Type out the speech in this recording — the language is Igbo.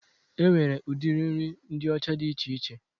E nwere udiri nri ndị ọcha dị iche iche